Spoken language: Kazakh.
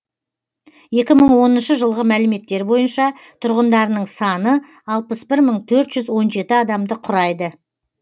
екі мың оныншы жылғы мәліметтер бойынша тұрғындарының саны алпыс бір мың төрт жүз он жеті адамды құрайды